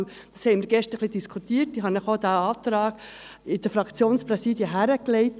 Denn wir haben dies gestern ein bisschen diskutiert, und ich habe diesen Antrag den Fraktionspräsidien hingelegt.